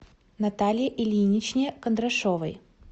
наталье ильиничне кондрашовой